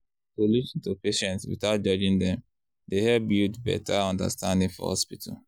to lis ten to patients without judging dem dey help build better understanding for hospital.